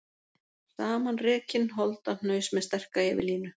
Samanrekinn holdahnaus með sterka yfirlínu.